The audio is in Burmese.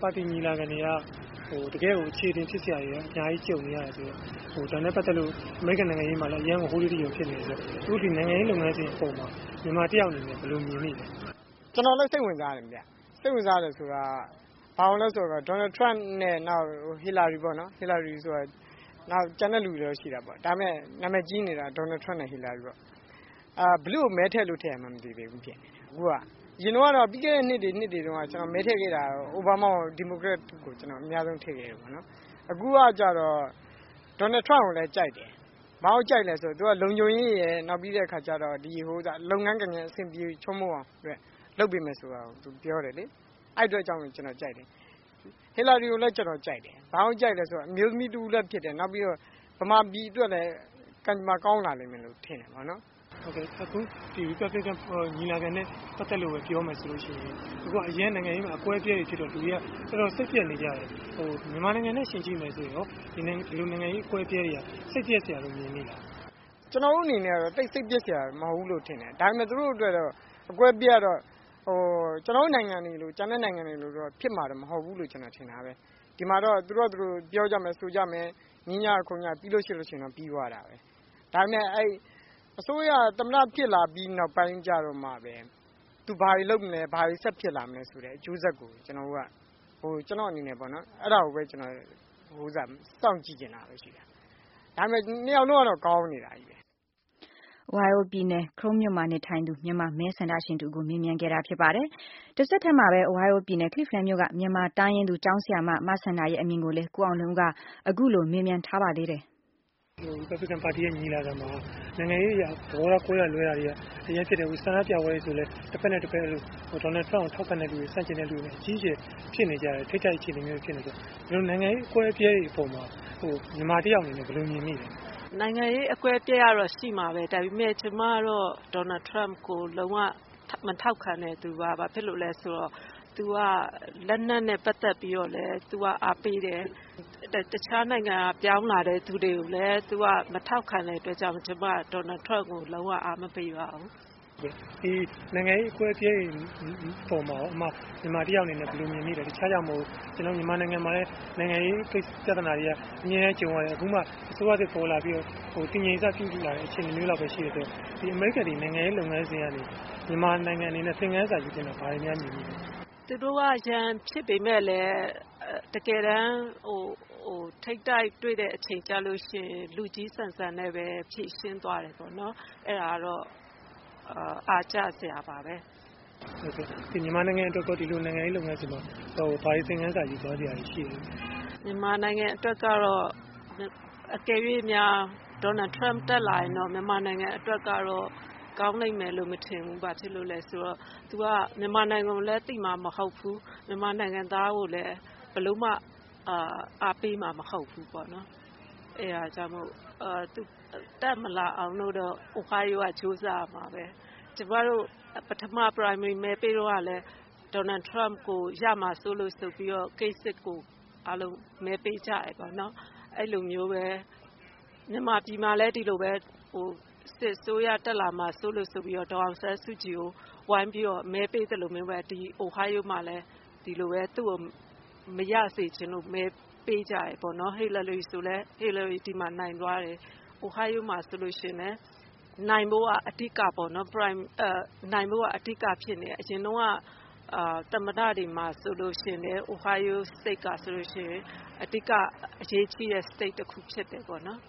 ပါတီညီလာခံက တကယ့်ကို အချေတင်ဖြစ်စရာတွေ အများကြီးကြုံနေရတယ်ဆိုတော့ ဒါနဲ့ ပတ်သက်လို့ အမေရိကန်နိုင်ငံရေးမှာလည်း ဟိုးလေးတကျော်ဖြစ်နေတယ်ဆိုတော့ အခုနိုင်ငံရေးလုပ်ငန်းစဉ်မှာ မြန်မာ ၁ ယောက်အနေနဲ့ ဘယ်လိုမြင်မိသလဲ။ ကျနော်လည်းစိတ်ဝင်စားတယ်ခင်ဗျ။ စိတ်ဝင်စားတယ်ဆိုတာက Donald Trump နဲ့ Hillary ပေါ့နော် ကျန်တဲလူတွေတော့ရှိတာပေါ့ ဒါပေမယ့် နာမည်ကြီးနေတာက Donald Trump နဲ့ Hillary ပေါ့။ ဘယ်သူ့ကိုမဲထည့်လို့ ထည့်ရမှန်းမသိသေးဘူးဖြစ်နေတယ် အခုက ။ အရင်တုန်းက ပြီးခဲ့တဲ့နှစ်တွေတုန်းက ကျနော်မဲထည့်ခဲ့တာတော့ အိုဘားမား နောက် ဒီမိုကရက်တစ်ကို ကျနော်မဲအများဆုံးထည့်ခဲ့တယ်ပေါ့နော်။ အခုကတော့ Donald Trump ကိုလည်းကြိုက်တယ်။ ဘာလို့ကြိုက်သလဲဆိုတော့ သူက လုံခြုံရေးရယ် ၊ နောက် လုပ်ငန်းကိုင်ငန်း အဆင်ပြေချောမောအောင်အတွက် လုပ်ပေးမယ်ဆိုတာကို သူပြောတယ်လေ။ အဲဒီအတွက်ကြောင့်ကျနော်ကြိုက်တယ်။ Hillary ကိုလည်းကြိုက်တယ် ဘာဖြစ်လို့လဲဆိုတော့ အမျိုးသမီးတဦးလည်းဖြစ်တယ် မြန်မာပြည်အတွက်လည်း ကံကြမ္မာကောင်းလာမယ်လို့ထင်တယ်။ အခု ဒီ Republican ပါတီညီလာခံအတွက်ပြောမယ်ဆိုရင် အခုနိုင်ငံရေးမှာ အကွဲအပြဲတွေဖြစ်တော့ လူတွေက တော်တော်စိတ်ပျက်နေကြတယ်လေ။ မြန်မာနိုင်ငံနဲ့ ယှဉ်ကြည့်မယ်ဆိုရင်ကော ဒီလိုနိုင်ငံရေးအကွဲအပြဲတွေက စိတ်ပျက်စရာလို့မြင်မိသလား။ ကျနော့်အနေနဲ့တော့ သိပ်စိတ်ပျက်စရာမဟုတ်ဘူးလို့ထင်တယ်။ ဒါပေမယ့် သူတို့အတွက်ကတော့ အကွဲအပြဲကတော့ ကျနော်တို့နိုင်ငံတွေလို ၊ ကျန်တဲ့နိုင်ငံတွေလိုဖြစ်မှာမဟုတ်ဘူးလို့ ကျနော်ထင်တာပဲ ။ ဒီမှာတော့ သူတို့ဟာသူတို့ ပြောကြမယ်၊ ဆိုကြမယ်။ ငြင်းကြမယ်ခုံကြမယ် ပြီးရင်ပြီးသွားတာပဲ။ ဒါပေမယ့် အစိုးရက သမ္မတဖြစ်လာပြီးနောက်ပိုင်းကျတော့မှပဲ သူဘာတွေလုပ်မလဲ၊ ဘာတွေဆက်ဖြစ်လာမလဲဆိုတဲ့ အကျိုးဆက်ကိုပဲ ကျနော့်အနေနဲ့ပေါ့နော် အဲဒါကိုပဲ စောင့်ကြည့်ချင်တာပဲရှိတယ်။ ဒါပေမယ့် ၂ ယောက်လုံးကတော့ ကောင်းနေတာကြီးပဲ။ Republican ပါတီညီလာခံမှာ နိုင်ငံရေးအရ သဘောထား ကွဲတာလွဲတာက အရမ်းဖြစ်တယ်။ အခု ဆန္ဒပြပွဲ ဆိုရင်လည်း တဘက်နဲ့ တဘက် Donald Trump ကို ထောက်ခံတဲ့လူတွေနဲ့ ဆန့်ကျင်တဲ့လူတွေနဲ့ အကြီးအကျယ်ထိပ်တိုက်အခြေအနေမျိုးတွေဖြစ်နေတယ်ဆိုတော့ ဒီလို နိုင်ငံရေးအကွဲအပြဲတွေအပေါ်မှာ မြန်မာတယောက်အနေနဲ့ ဘယ်လိုမြင်မိသလဲ။ နိုင်ငံရေးအကွဲအပြဲတွေကတော့ ရှိမှာပဲ ဒါပေမယ့် ကျမကတော့ Donald Trump ကိုလုံးဝမထောက်ခံတဲ့သူပါ။ ဘာဖြစ်လို့လဲဆိုတော့ လက်နက်နဲ့ ပတ်သက်ပြီးတော့လည်းအားပေးတယ်။ နောက်တခြားနိုင်ငံက ပြောင်းလာတဲ့သူကိုလည်း မထောက်ခံတဲ့အတွက်ကြောင့်မို့ ကျမကတော့ Donald Trump ကိုလုံး၀ အားမပေးပါဘူး။ နိုင်ငံရေးအကွဲအပြဲတွေအပေါ်မှာကော မြန်မာတယောက်အနေနဲ့ ဘယ်လိုမြင်မိသလဲ။ တခြားကြောင့်မဟုတ်ဘူး ကျနော်တို့ မြန်မာနိုင်ငံမှာလည်း နိုင်ငံရေးပြဿနာတွေက အမြဲတမ်းကြုံရတယ်။အခုမှ အစိုးရသစ်ပေါ်လာပြီးတော့ တည်ငြိမ်စပြုလာတယ်ဆိုတော့ ဒီအမေရိကန်နိုင်ငံ နိုင်ငံရေးလုပ်ငန်းစဉ်ကနေ မြန်မာနိုင်ငံအနေနဲ့ ဘာတွေများ သင်ခန်းစာယူသင့်တာ မြင်မိသလဲ။ သူတို့က ရန်ဖြစ်ပေမယ့်လည်း တကယ်တမ်း ထိပ်တိုက်တွေ့တဲ့အချိန်ကျရင် လူကြီးဆန်ဆန်နဲ့ဖြေရှင်းသွားတယ်ပေါ့နော်။ အဲဒါကတော့ အားကျစရာပါပဲ။ မြန်မာနိုင်ငံအတွက်ကော ဒီလိုနိုင်ငံရေး လုပ်ငန်းစဉ်မှာ ဘာတွေယူသွားစရာကောရှိသလဲ။ မြန်မာနိုင်ငံအတွက်ကတော့ အကယ်၍များ Donald Trump တက်လာရင်တော့ ကောင်းလိမ့်မယ်လို့မထင်ဘူး ဘာဖြစ်လို့လဲဆိုတော့ သူက မြန်မာနိုင်ငံကိုလည်း သိမှာမဟုတ်ဘူး။ မြန်မာနိုင်ငံသားကိုလည်း ဘယ်လိုမှ အားပေးမှာမဟုတ်ဘူး ပေါ့နော် အဲဒါကြောင့်မို့လို့ သူတက်မလာဖို့ Ohio ကကြိုးစားရမှာပဲ။ ကျမတို့ ပထမ Primary တုန်းက Donald Trump ကိုရမှာဆိုပြီးတော့ Kasich ကိုအားလုံးမဲပေးကြတယ်ပေါ့နော်။ အဲလိုမျိုးပဲ မြန်မာပြည်မှာလည်း ဒီလိုပဲ စစ်အစိုးရတက်လာမှာဆိုးလို့ ဒေါ်အောင်ဆန်းစုကြည်ကို ဝိုင်းပြီးတော့ မဲပေးသလိုမျိုးပဲ ဒီ Ohio မှာလည်း သူ့ကိုမရစေချင်လို့ မဲပေးကြတယ်ပေါ့နော်။ Hillary ဆိုလည်း ဒီမှာနိုင်သွားတယ်။ Ohio မှာဆိုရင်လည်း နိုင်ဖို့က အဓိကပေါ့နော်။ အရင်တုန်းက သမ္မတတွေတုန်းကဆိုရင်လည်း Ohio State ကဆိုရင် အဓိက အရေးကြီးတဲ့ state တခုဖြစ်တယ်ပေါ့နော်